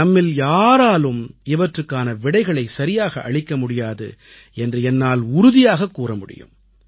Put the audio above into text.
நம்மில் யாராலும் இவற்றுக்கான விடைகளைச் சரியாக அளிக்க முடியாது என்று என்னால் உறுதியாகக் கூற முடியும்